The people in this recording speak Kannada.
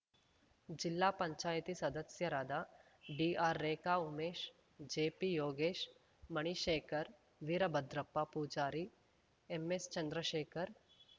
ಜಿಲ್ಲಾ ಪಂಚಾಯತ್ ಸದಸ್ಯರಾದ DR Rekha Umesh JP Yogesh Manishekhar Veerabhadrappa Pujari MS Chandrashekhar